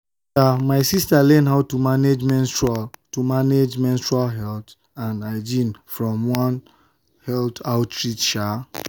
my sister learn how to manage menstrual to manage menstrual health and hygiene from one health outreach.